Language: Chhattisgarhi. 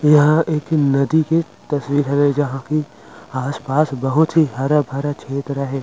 यहाँ एक नदी के तस्वीर हवय जहाँ की आस पास बहुत ही हरा भरा छेत्र हे ।--